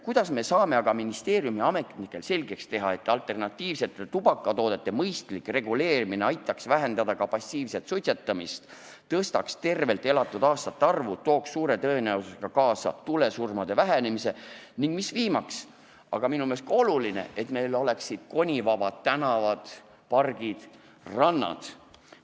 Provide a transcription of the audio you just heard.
Kuidas me saame aga ministeeriumiametnikele selgeks teha, et alternatiivsete tubakatoodete mõistlik reguleerimine aitaks vähendada ka passiivset suitsetamist, suurendaks tervelt elatud aastate arvu, tooks suure tõenäosusega kaasa tulesurmade vähenemise ning – viimane, aga minu meelest on seegi oluline – meil oleksid konivabad tänavad, pargid ja rannad.